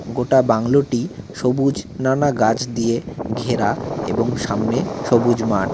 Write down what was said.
গোটা বাংলোটি সবুজ নানা গাছ দিয়ে ঘেরা এবং সামনে সবুজ মাঠ।